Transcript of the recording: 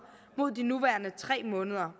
mod de nuværende tre måneder